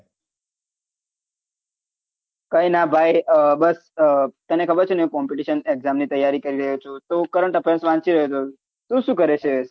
કઈના ભાઈ બસ તને ખબર છે ને competition exam ની તૈયારી કરી રહ્યો છુ તો current વાંચી રહ્યો છુ તુ શું કરે છે